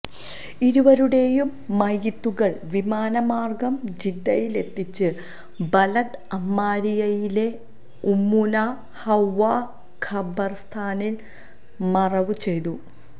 ഇരുവരുടെയും മയ്യിത്തുകൾ വിമാന മാർഗം ജിദ്ദയിലെത്തിച്ച് ബലദ് അമ്മാരിയയിലെ ഉമ്മുനാ ഹവ്വാ ഖബർസ്ഥാനിൽ മറവു ചെയ്തു